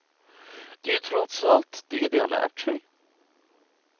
Det är ju trots allt det de har lärt sig.